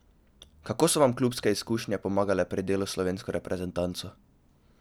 Kako so vam klubske izkušnje pomagale pri delu s slovensko reprezentanco?